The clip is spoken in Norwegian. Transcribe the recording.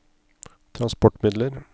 transportmidler